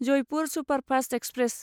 Jaipur superfast express